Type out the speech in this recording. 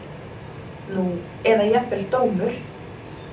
Nú eða jafnvel dómur